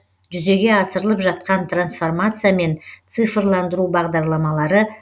жүзеге асырлып жатқан трансформация мен цифрландыру бағдарламалары